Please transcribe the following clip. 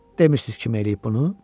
Demisiz kim eləyib bunu?